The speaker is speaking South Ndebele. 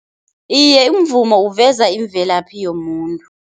Iye, umvumo uveza imvelaphi yomuntu.